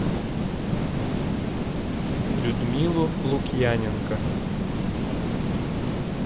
людмилу лукьяненко